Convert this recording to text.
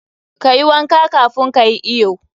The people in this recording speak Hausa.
Kayi wanka kafun ka yi iyo.